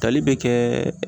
Tali be kɛɛ